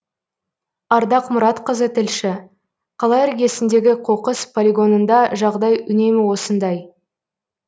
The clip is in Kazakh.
ардақ мұратқызы тілші қала іргесіндегі қоқыс полигонында жағдай үнемі осындай